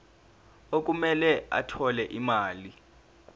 okumele athole imali